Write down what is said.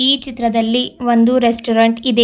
ಈ ಚಿತ್ರದಲ್ಲಿ ಒಂದು ರೆಸ್ಟೊರೆಂಟ್ ಇದೆ.